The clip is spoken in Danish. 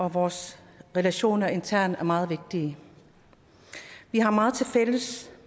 at vores relationer internt er meget vigtige vi har meget tilfælles